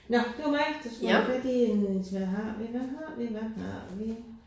Nåh det var mig der skulle have fat i en hvad har vi hvad har vi hvad har vi